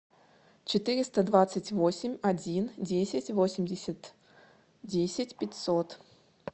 четыреста двадцать восемь один десять восемьдесят десять пятьсот